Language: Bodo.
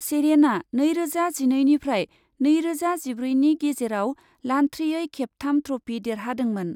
सेरेनाआ नैरोजा जिनैनिफ्राय नैरोजा जिब्रैनि गेजेराव लान्थ्रियै खेबथाम ट्रफि देरहादोंमोन ।